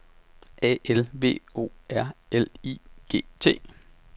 A L V O R L I G T